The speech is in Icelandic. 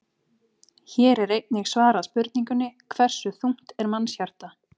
Hér er einnig svarað spurningunni: Hversu þungt er mannshjarta?